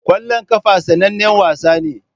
Kwallon kafa sanannen wasa ne.